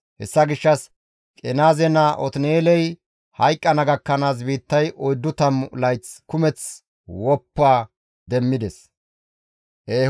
Hessa gishshas Qenaaze naa Otin7eeley hayqqana gakkanaas biittay oyddu tammu layth kumeth woppa demmides.